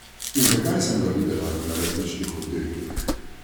In zakaj sem ga videla na različnih oddelkih.